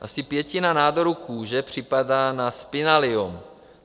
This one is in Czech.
Asi pětina nádorů kůže připadá na spinaliom.